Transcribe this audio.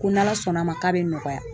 Ko n'ala sɔnn'a ma k'a bɛ nɔgɔya.